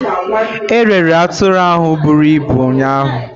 E rere atụrụ ahụ bụrụ ibụ ụnyaahụ.